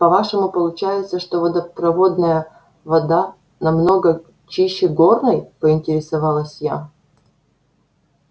по-вашему получается что водопроводная вода намного чище горной поинтересовалась я